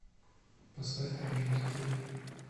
поставь айм нот окей